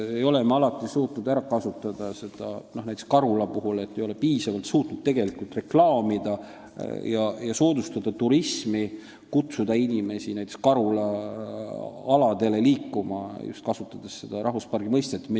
Näiteks ei ole me suutnud Karulat piisavalt reklaamida ja seal turismi soodustada, kutsudes inimesi näiteks Karula aladele, kasutades just seda rahvuspargi mõistet.